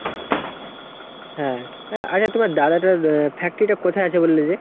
হ্যাঁ। আচ্ছা তোমার দাদাটার factory টা কোথায় আছে বললে যে ?